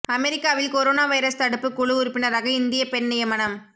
அமெரிக்காவில் corona virus தடுப்பு குழு உறுப்பினராக இந்திய பெண் நியமனம்